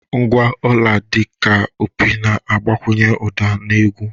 Ngwa ọla, dị ka opi na-agbakwunye ụda na egwu.